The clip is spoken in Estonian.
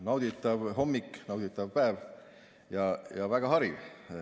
Nauditav hommik, nauditav päev, ja väga hariv.